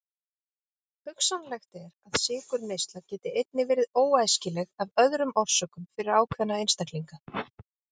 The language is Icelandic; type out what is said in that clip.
Hugsanlegt er að sykurneysla geti einnig verið óæskileg af öðrum orsökum fyrir ákveðna einstaklinga.